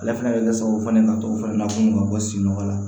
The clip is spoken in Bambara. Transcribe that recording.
Ale fana bɛ kɛ sababu ye ka to fana ko mako sin na